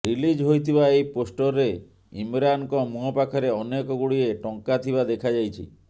release ହୋଇଥିବା ଏହି ପୋଷ୍ଟରରେ ଇମରାନଙ୍କ ମୁୁଁହ ପାଖରେ ଅନେକ ଗୁଡିଏ ଟଙ୍କା ଥିବା ଦେଖାଯାଇଛି